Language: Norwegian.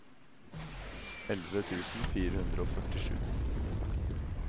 elleve tusen fire hundre og førtisju